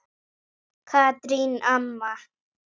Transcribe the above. Katrín amma.